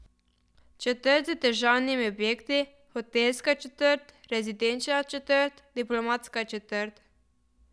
Četrt z državnimi objekti, hotelska četrt, rezidenčna četrt, diplomatska četrt ...